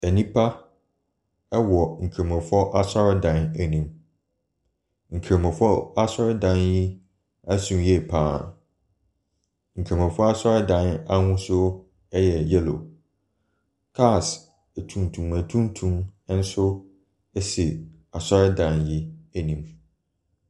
Nnipa wɔ Nkramofoɔ asɔredan anim. Nkramofoɔ asɔredan yi so yie pa ara. Nramofoɔ adɔredan ahosuo yɛ yellow. Cars atuntum atuntum nso si asɔredan yi anim.